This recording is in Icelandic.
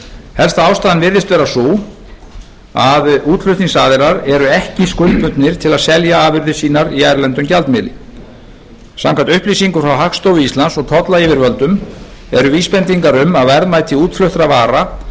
helsta ástæðan virðist vera sú að útflutningsaðilar eru ekki skuldbundnir til að selja afurðir sínar í erlendum gjaldmiðli samkvæmt upplýsingum frá hagstofu íslands og tollyfirvöldum eru vísbendingar um að verðmæti útfluttra vara